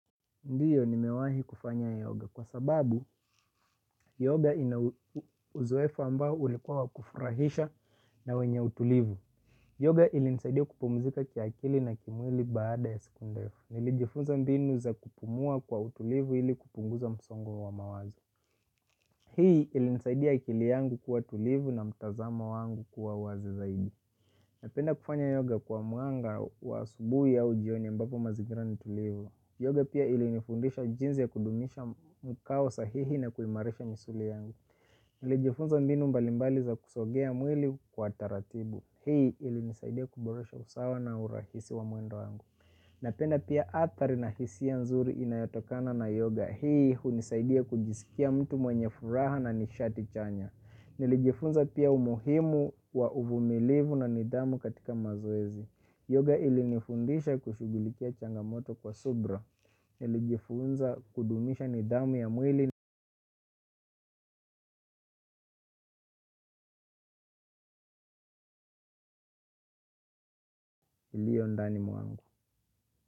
Ndiyo nimewahi kufanya yoga kwa sababu yoga ina uzoefu ambao ulikuwa wa kufuraisha na wenye utulivu. Yoga ilinisaidia kupumuzika kiakili na kimwili baada ya siku ndefu. Nilijifunza mbinu za kupumua kwa utulivu ili kupunguza msongo wa wa mawazo. Hii ilinisaidia akili yangu kuwa tulivu na mtazamo wangu kuwa wazi zaidi. Napenda kufanya yoga kwa mwanga wa asubui au jioni ambapo mazingira ni tulivu. Yoga pia ilinifundisha jinzi ya kudumisha mkao sahihi na kuimarisha misuli yangu. Nilijifunza mbinu mbalimbali za kusogea mwili kwa taratibu. Hii ilinisaidia kuboresha usawa na urahisi wa mwendo wangu. Napenda pia athari na hisia nzuri inayatokana na yoga. Hii hunisaidia kujisikia mtu mwenye furaha na nishati chanya. Nilijifunza pia umuhimu wa uvumilivu na nidhamu katika mazoezi. Yoga ilinifundisha kushughulikia changamoto kwa subra nilijifunza kudumisha nidhamu ya mwili iliyo ndani mwangu.